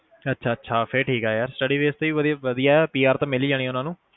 ਅੱਛਾ-ਅੱਛਾ ਫਿਰ ਠੀਕ ਆ ਯਾਰ study base ਤੇ ਵੀ ਵਧਿਆ PR ਤਾ ਮਿਲ ਹੀ ਜਾਣੀਆ ਉਨ੍ਹਾਂ ਨੂੰ